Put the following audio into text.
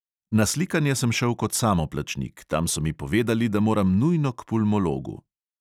Na slikanje sem šel kot samoplačnik, tam so mi povedali, da moram nujno k pulmologu.